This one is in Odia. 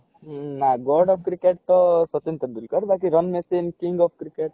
ନା god of କ୍ରିକେଟ ତ ସଚିନ ତେନ୍ଦୁଲକର ବାକି king of କ୍ରିକେଟ